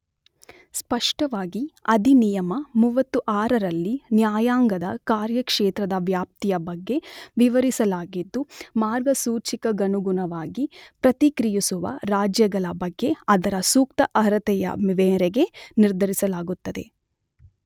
ಸ್ಪಷ್ಟವಾಗಿ ಅಧಿನಿಯಮ 36 ರಲ್ಲಿ ನ್ಯಾಯಾಂಗದ ಕಾರ್ಯಕ್ಷೇತ್ರದ ವ್ಯಾಪ್ತಿಯ ಬಗ್ಗೆ ವಿವರಿಸಲಾಗಿದ್ದು, ಮಾರ್ಗಸೂಚಿಗನುಗುಣವಾಗಿ ಪ್ರತಿಕ್ರಿಯುಸುವ ರಾಜ್ಯಗಳ ಬಗ್ಗೆ ಅದರ ಸೂಕ್ತ ಅಹರತೆಯ ಮೇರೆಗೆ ನಿರ್ಧರಿಸಲಾಗುತ್ತದೆ.